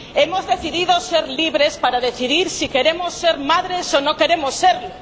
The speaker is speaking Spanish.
Hemos decidido ser libres para decidir si queremos ser madres o no queremos serlo.